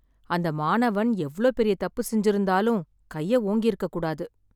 அந்த மாணவன் எவ்ளோ பெரிய தப்பு செஞ்சுருந்தாலும் கைய ஓங்கிருக்கக் கூடாது.